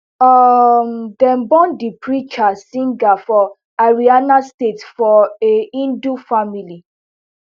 um dem born di preacher singh for haryana state for a hindu family